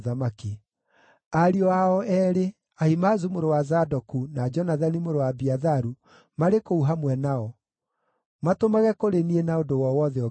Ariũ ao eerĩ, Ahimaazu mũrũ wa Zadoku, na Jonathani mũrũ wa Abiatharu marĩ kũu hamwe nao. Matũmage kũrĩ niĩ na ũndũ o wothe ũngĩigua.”